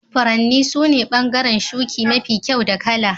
Furanni sune bangaren shuki mafi kyau da kala.